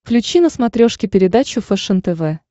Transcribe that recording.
включи на смотрешке передачу фэшен тв